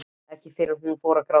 Ekki fyrr en hún fór að gráta.